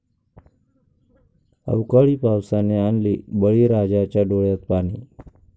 अवकाळी पावसाने आणले बळीराजाच्या डोळ्यात पाणी!